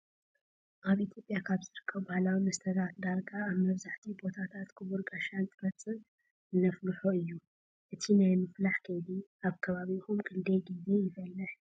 ኣብ ኢትዮጵያ ካብ ዝርከቡ ባህላዊ መስተታት ዳርጋ ኣብ መብዛህቲኡ ቦታታት ኽቡር ጋሻ እንትመፅእ እነፍልሆ እዩ። እቲ ናይ ምፍላህ ከይዲ ኣብ ከባቢኹም ክንደይ ግዜ ይፍላሕ?